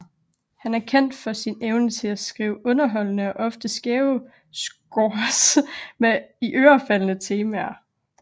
Han er kendt for sin evne til at skrive underholdende og ofte skæve scores med iørefaldende temaer